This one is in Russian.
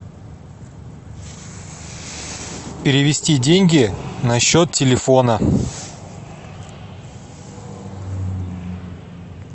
перевести деньги на счет телефона